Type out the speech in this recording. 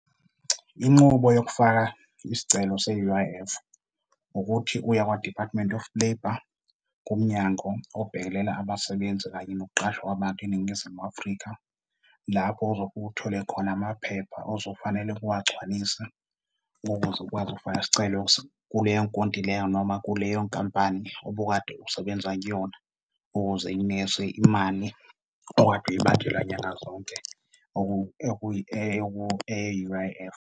Inqubo yokufaka isicelo se-U_I_F ukuthi uye Kwa-Department of Labour, kumnyango obhekelela abasebenzi kanye nokuqashwa kwabantu eNingizimu Afrika. Lapho ozofike uthole khona amaphepha ozofanele-ke uwagcwalise, ukuze ukwazi ukufaka isicelo kuleyo nkontileka noma kuleyo nkampani obukade usebenza kuyona, ukuze ikunikeze imali okade nyangazonke eye-U_I_F.